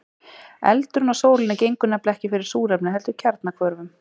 Eldurinn á sólinni gengur nefnilega ekki fyrir súrefni heldur kjarnahvörfum.